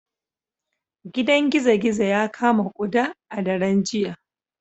Gidan gizo-gizo ya kama kuda a daren jiya